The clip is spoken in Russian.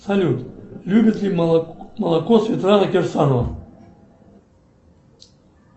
салют любит ли молоко светлана кирсанова